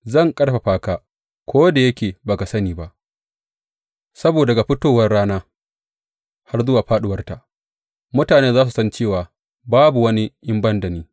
Zan ƙarfafa ka, ko da yake ba ka san ni ba, saboda daga fitowar rana har zuwa fāɗuwarta mutane za su san cewa babu wani in ban da ni.